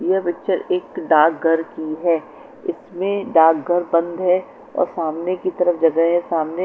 यह पिक्चर डाक घर की है इसमें डाक घर बंद है और सामने की तरफ जगह है और सामने --